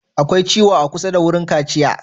Akwai ciwo a kusa da wurin kaciya?